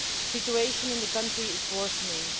The situation in the country is worsening.